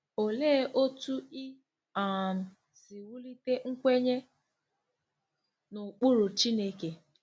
Olee otú i um si wulite nkwenye n’ụkpụrụ Chineke?